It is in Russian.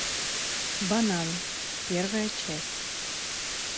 банан первая часть